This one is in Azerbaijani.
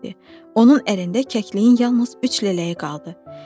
Onun ərində kəkliyin yalnız üç lələyi qaldı.